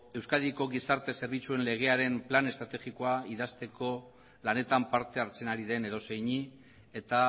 euskadi gizarte zerbitzuen legearen plan estrategikoa idazteko lanetan parte hartzen ari den edozeini eta